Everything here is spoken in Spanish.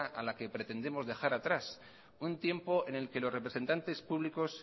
a la que pretendemos dejar atrás un tiempo en el que los representantes públicos